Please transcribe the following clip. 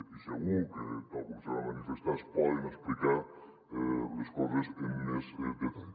i segur que tal com se va manifestar es poden explicar les coses amb més detall